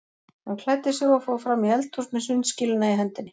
Hann klæddi sig og fór fram í eldhús með sundskýluna í hendinni.